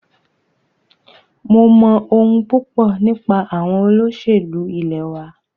Mo mọ̀ ohun púpọ nípa àwọn olóṣèlú ilẹ̀ wa.